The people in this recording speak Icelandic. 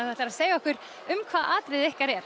þú ætlar að segja okkur um hvað atriðið ykkar er